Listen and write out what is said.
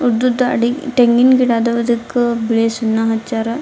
ಉದ್ದುದ್ ಅಡಿ ತೆಂಗಿನ್ ಗಿಡ ಅದವ್ ಅದ್ಕ ಬಿಳಿ ಸುಣ್ಣ ಹಚ್ಚಾರ್.